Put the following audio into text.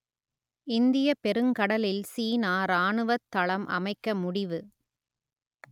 இந்தியப் பெருங்கடலில் சீனா ராணுவத் தளம் அமைக்க முடிவு